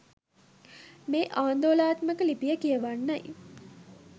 මේ ආන්දෝලනාත්මක ලිපිය කියවන්නයි